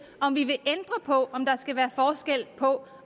om vi vil ændre på om der skal være forskel på